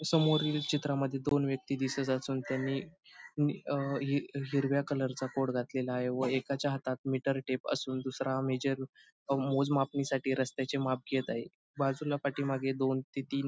समोरील चित्रामध्ये दोन व्यक्ती दिसत असून त्यांनी नी अह ही हिरव्या कलरचा कोट घातलेला आहे व एकाच्या हातात मीटर टेप असून दुसरा मेजर अह मोजमापणी साठी रस्त्याचे माप घेत आहे बाजूला पाठीमागे दोन ते तीन --